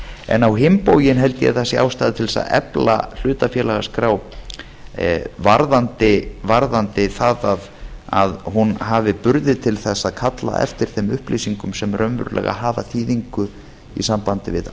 en á hinn bóginn held ég að það sé ástæða til þess að efla hlutafélagaskrá varðandi það að hún hafi burði til þess að kalla eftir þeim upplýsingum sem raunverulega hafa þýðingu í sambandi við